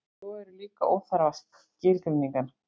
svo eru líka óþarfar skilgreiningar